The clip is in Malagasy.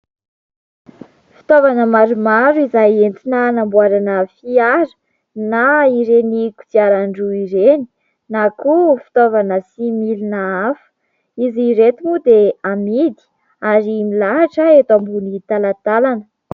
Fitaovana maromaro izay entina hanamboarana fiara na ireny kodiaran-droa ireny na koa fitaovana sy milina hafa. Izy reto moa dia hamidy ary milahatra eto ambony talantalana.